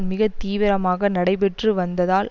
மிக தீவிரமாக நடைபெற்று வந்ததால்